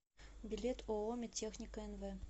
билет ооо медтехника нв